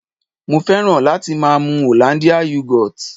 Mo fẹ́ràn láti máa mu Hollandia Yogurt